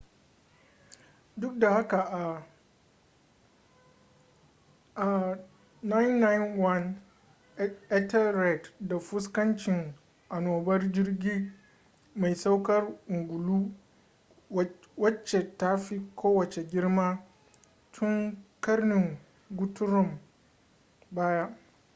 duk da haka a 991 ethelred ta fuskanci anobar jirgi mai saukar ungulu wace ta fi kowace girma tun karnin guthrum baya